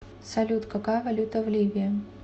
салют какая валюта в ливии